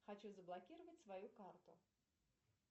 хочу заблокировать свою карту